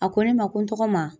A ko ne ma ko n tɔgɔma